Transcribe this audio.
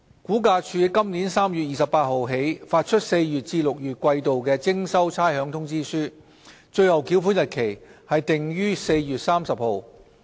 估價署今年3月28日起發出4月至6月季度的徵收差餉通知書，"最後繳款日期"定於4月30日。